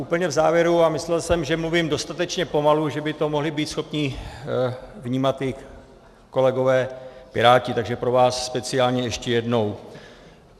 Úplně v závěru, a myslel jsem, že mluvím dostatečně pomalu, že by to mohli být schopni vnímat i kolegové Piráti, takže pro vás speciálně ještě jednou.